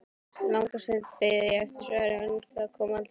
Langa stund beið ég eftir svari, en það kom aldrei.